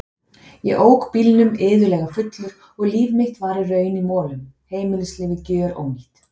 Ég ók bílnum iðulega fullur og líf mitt var í raun í molum, heimilislífið gjörónýtt.